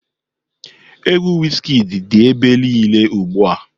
Egwu Wizkid dị ebe niile ugbu a.